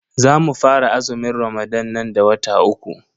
Zamu fara azumin ramadan nan da wata uku.